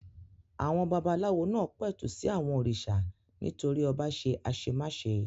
Àwọn babaláwo náà pẹ̀tù sí àwọn òrìṣà nítorí ọba ṣe àṣemáṣe.